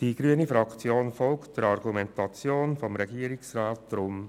Die grüne Fraktion folgt der Argumentation des Regierungsrats.